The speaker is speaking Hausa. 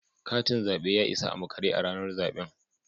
Katin zabe ya isa a makare a ranar zaben